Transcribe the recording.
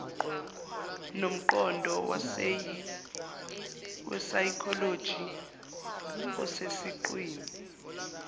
nomqondo wesayikholoji osesiqwini